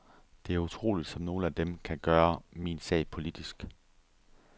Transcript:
Det er utroligt, som nogle af dem kan gøre min sag politisk.